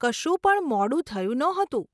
કશું પણ મોડું થયું નહોતું.